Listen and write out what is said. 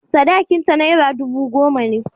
Sadakinta naira dubu goma ne.